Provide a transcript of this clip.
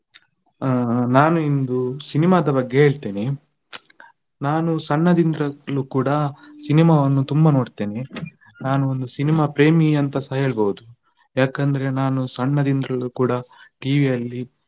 ಆ ನಾನು ಇಂದು cinema ದ ಬಗ್ಗೆ ಹೇಳ್ತೇನೆ, ನಾನು ಸಣ್ಣದಿಂದಲೂ ಕೂಡ cinema ವನ್ನು ತುಂಬಾ ನೋಡ್ತೆನೆ. ನಾನು ಒಂದು cinema ಪ್ರೇಮಿ ಅಂತಸ ಹೇಳ್ಬೋದು, ಯಾಕಂದ್ರೆ ನಾನು ಸಣ್ಣದಿಂದಲೂ ಕೂಡ TV ಅಲ್ಲಿ.